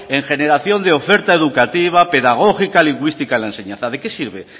en generación de oferta educativa pedagógico lingüística en la enseñanza de qué sirve